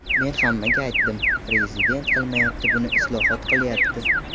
Men hammaga aytdim, prezident qilmayapti buni, islohot qilyapti.